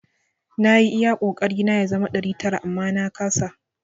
Na yi iya kokari na ya zama ɗari tara amma na kasa.